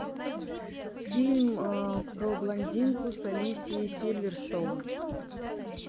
фильм про блондинку с алисией сильверстоун